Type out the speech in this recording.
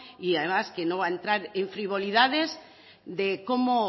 y además que no va a entrar en frivolidades de cómo